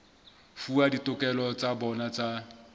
fuwa ditokelo tsa bona tsa